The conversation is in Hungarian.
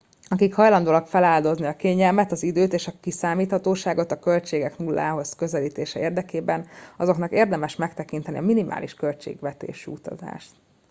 akik hajlandóak feláldozni a kényelmet az időt és a kiszámíthatóságot a költségek nullához közelítése érdekében azoknak érdemes megtekinteni a minimális költségvetésű utazást